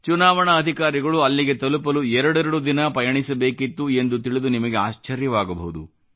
ಚುನಾವಣಾ ಅಧಿಕಾರಿಗಳು ಅಲ್ಲಿಗೆ ತಲುಪಲು ಎರಡೆರಡು ದಿನ ಪಯಣಿಸಬೇಕಿತ್ತು ಎಂದು ತಿಳಿದು ನಿಮಗೆ ಆಶ್ಚರ್ಯವಾಗಬಹುದು